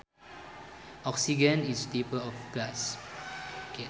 Oxygen is a type of gas